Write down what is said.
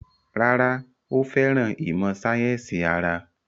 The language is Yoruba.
Rárá, ó fẹ́ràn ìmọ̀ sáyẹ́sì ara